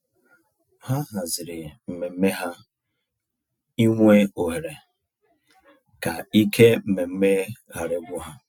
Ha hazịri mmemme ha ịnwe ohere, ka ike mmemme ghara igwu ha.